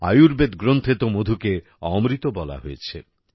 আয়ুর্বেদ গ্রন্থে তো মধুকে অমৃত বলা হয়েছে